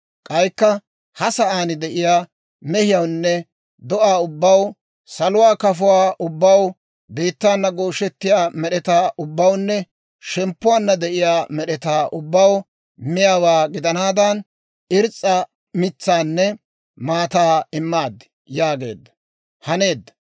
K'aykka ha sa'aan de'iyaa mehiyawunne do'aa ubbaw, saluwaa kafuwaa ubbaw, biittaana gooshettiyaa med'etaa ubbawunne shemppuwaanna de'iyaa med'etaa ubbaw miyaawaa gidanaadan, irs's'a mitsaanne maataa immaad» yaageedda; haneedda.